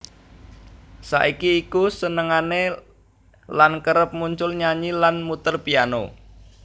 Saiki iku senengane lan kerep muncul nyanyi lan muter piano